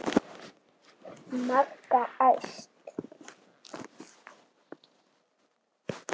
Magga æst.